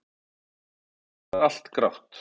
Það er allt grátt.